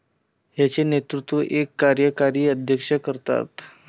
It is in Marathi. याचे नेतृत्व एक कार्यकारी अध्यक्ष करतात.